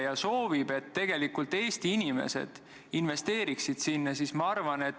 Mul oli tegelikult sama küsimus mis Helmenil, aga mul on lisaks repliik.